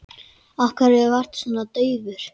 Af hverju ertu svona daufur?